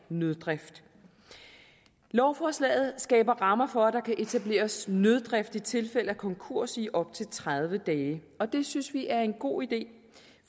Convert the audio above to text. nøddrift lovforslaget skaber rammer for at der kan etableres nøddrift i tilfælde af konkurs i op til tredive dage og det synes vi er en god idé